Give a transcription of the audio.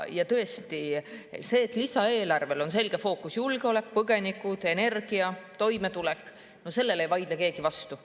Ja tõesti sellele, et lisaeelarvel on selge fookus – julgeolek, põgenikud, energia, toimetulek –, ei vaidle keegi vastu.